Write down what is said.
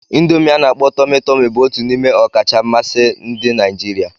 Indomi ana-akpo Tomi-Tomi bụ otu n'ime ọkacha mmasị ndị Naijiria.